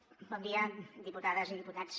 bon dia diputades i diputats